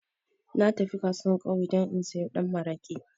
Na tafi kasuwan ƙauye dan in sayo da maraƙi